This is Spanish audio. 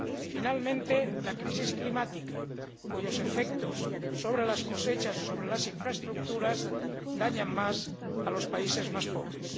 finalmente, la crisis climática, cuyos efectos sobre las cosechas o sobre las infraestructuras dañan más a los países más pobres.